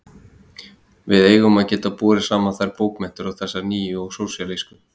Við eigum að geta borið saman þær bókmenntir og þessar nýju og sósíalísku.